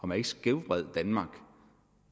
man ikke skævvred danmark